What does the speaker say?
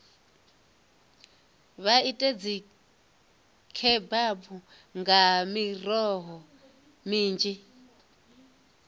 vha ite dzikhebabu nga miroho minzhi